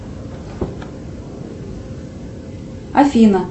афина